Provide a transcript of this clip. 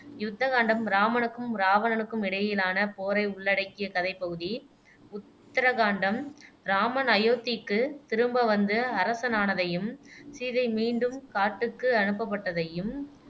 யுத்த காண்டம் இராமனுக்கும் இராவணனுக்கும் இடையிலான போரை உள்ளடக்கிய கதைப் பகுதி, உத்தர காண்டம் இராமன் அயோத்திக்கு திரும்ப வந்து அரசனானதையும் சீதை மீண்டும் காட்டுக்கு அனுப்பப்பட்டதையும்